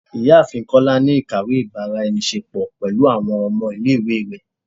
Ìyáàfín kola ni ikáwe ibara-enise-po pẹlu awọn ọmọ ile-iwe rẹ